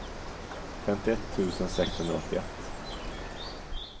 femtioett tusen sexhundraåttioett